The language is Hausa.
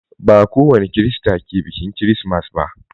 Ba kowani Kirista ke biƙin kirismas ba.